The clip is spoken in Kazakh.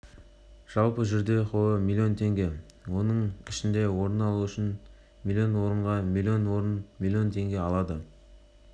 жалпы жүлде қоры млн теңге оның ішінде орын үшін млн орынға млн орын млн тенге алады